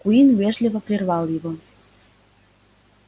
куинн вежливо прервал его